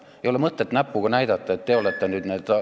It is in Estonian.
Ei ole mõtet näpuga näidata, et teie olete nüüd need ...